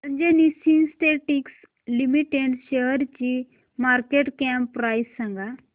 Anjani synthetics limited शेअरची market cap price सांगा